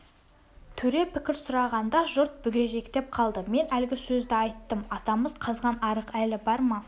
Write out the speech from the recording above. төре пікір сұрағанда жұрт бүгежектеп қалды мен әлгі сөзді айттым атамыз қазған арық әлі бар ма